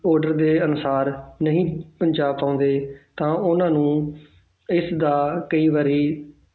Order ਦੇ ਅਨੁਸਾਰ ਨਹੀਂ ਪਹੁੰਚਾ ਪਾਉਂਦੇ ਤਾਂ ਉਹਨਾਂ ਨੂੰ ਇਸਦਾ ਕਈ ਵਾਰੀ,